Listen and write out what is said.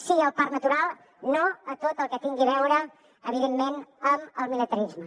sí al parc natural no a tot el que tingui a veure evidentment amb el militarisme